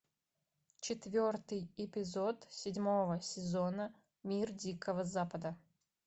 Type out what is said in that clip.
четвертый эпизод седьмого сезона мир дикого запада